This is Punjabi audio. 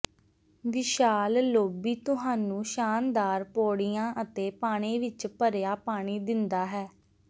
ਵਿਸ਼ਾਲ ਲੌਬੀ ਤੁਹਾਨੂੰ ਸ਼ਾਨਦਾਰ ਪੌੜੀਆਂ ਅਤੇ ਪਾਣੀ ਵਿੱਚ ਭਰਿਆ ਪਾਣੀ ਦਿੰਦਾ ਹੈ